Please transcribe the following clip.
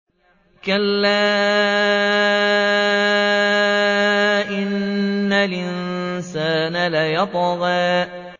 كَلَّا إِنَّ الْإِنسَانَ لَيَطْغَىٰ